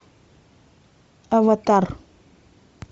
аватар